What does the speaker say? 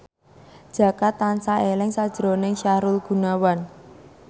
Jaka tansah eling sakjroning Sahrul Gunawan